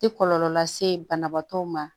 Tɛ kɔlɔlɔ lase banabaatɔ ma